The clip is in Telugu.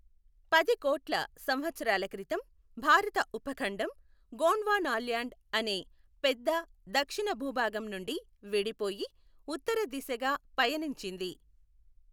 పది కోట్ల సంవత్సరాల క్రితం, భారత ఉపఖండం గోండ్వానాల్యాండ్ అనే పెద్ద, దక్షిణ భూభాగం నుండి విడిపోయి ఉత్తర దిశగా పయనించింది.